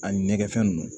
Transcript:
A ɲɛgɛn fɛn nunnu